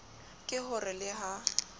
ke ho re le ha